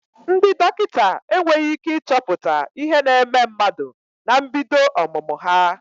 Ndị dọkịta enweghị ị́ké ịchọpụta ihe na-eme mmadụ na mbido ọmụmụ ha.